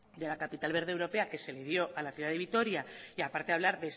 de la capital verde europea que se le dio a la ciudad de vitoria y a parte de hablar